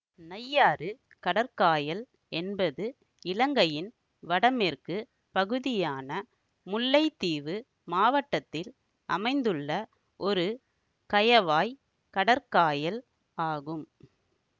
நையாறு கடற்காயல் என்பது இலங்கையின் வடமேற்கு பகுதியான முல்லைத்தீவு மாவட்டத்தில் அமைந்துள்ள ஒரு கயவாய் கடற்காயல் ஆகும்